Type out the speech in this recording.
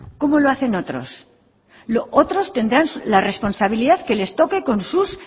cómo lo hacen otros otros tendrán la responsabilidad que les toque con sus